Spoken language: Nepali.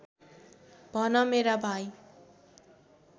भन मेरा भाइ